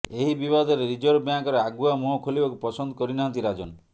ଏହି ବିବାଦରେ ରିଜର୍ଭ ବ୍ୟାଙ୍କର ଆଗୁଆ ମୁହଁ ଖୋଲିବାକୁ ପସନ୍ଦ କରିନାହାନ୍ତି ରାଜନ